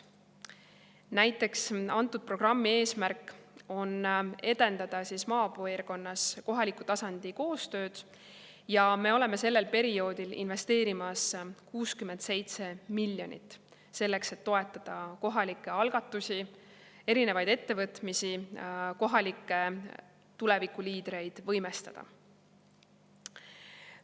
Näiteks antud programmi eesmärk on edendada maapiirkonnas kohaliku tasandi koostööd ja me oleme sellel perioodil investeerimas 67 miljonit eurot selleks, et toetada kohalikke algatusi, erinevaid ettevõtmisi, kohalikke tulevikuliidreid võimestada.